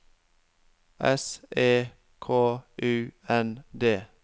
S E K U N D